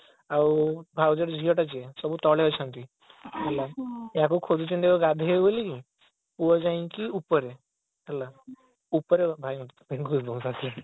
ଆଉ ଭାଉଜର ଝିଅଟା ଯିଏ ସବୁ ତଳେ ଅଛନ୍ତି ହେଲା ୟାକୁ ଖୋଜୁଛନ୍ତି ଗଧେଇବ ବୋଲିକି ପୁଅ ଯାଇକି ଉପରେ ହେଲା ଉପରେ ଭାଇ